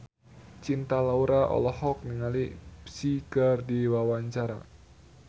Cinta Laura olohok ningali Psy keur diwawancara